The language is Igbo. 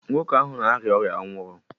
Nwoke ahụ na-arịa ọrịa ọ nwụrụ?